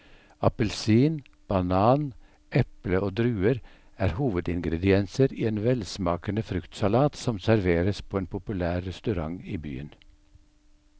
Appelsin, banan, eple og druer er hovedingredienser i en velsmakende fruktsalat som serveres på en populær restaurant i byen.